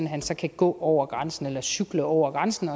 han kan gå over grænsen eller cykle over grænsen